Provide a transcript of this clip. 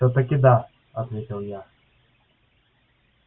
всё-таки да ответил я